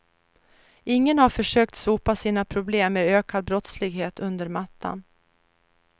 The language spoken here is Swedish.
Ingen har försökt sopa sina problem med ökad brottslighet under mattan.